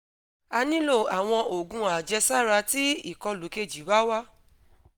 a nilo awọn oogun ajesara ti ikolu keji ba wa